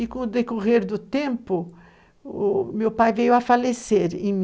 E com o decorrer do tempo, o meu pai veio a falecer em 1952.